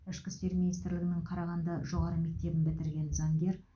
ішкі істер министрлігінің қарағанды жоғары мектебін бітірген заңгер